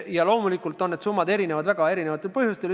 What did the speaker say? Ja loomulikult erinevad need summad üksteisest väga erisugustel põhjustel.